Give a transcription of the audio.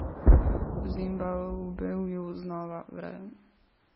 V Zimbabveju znova vre.